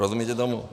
Rozumíte tomu?